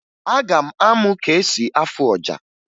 Aga m amụ ka esi afụ ọja